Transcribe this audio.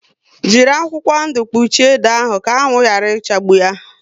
Jírí akwụkwọ ndụ kpuchie ede ahụ ka anwụ yara ichagbu yá